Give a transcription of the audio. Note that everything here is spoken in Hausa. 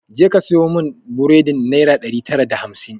Ja ka saya mun buredin naira ɗari tara da hamsin!